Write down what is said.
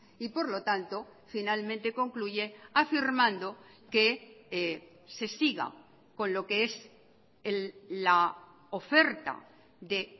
y por lo tanto finalmente concluye afirmando que se siga con lo que es la oferta de